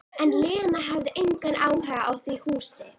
En Lena hafði engan áhuga á því húsi.